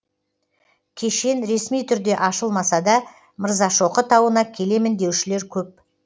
кешен ресми түрде ашылмаса да мырзашоқы тауына келемін деушілер көп